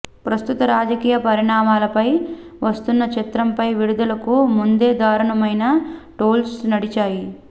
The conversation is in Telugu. ప్రస్తుత రాజకీయ పరిణమాలపై వస్తున్న చిత్రంపై విడుదలకు ముందే దారుణమైన ట్రోల్స్ నడిచాయి